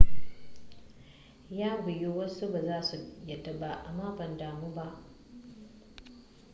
ya wiyu wasu ba za su yadda ba amma ban damu ba